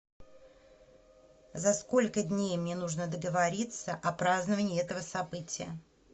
за сколько дней мне нужно договориться о праздновании этого события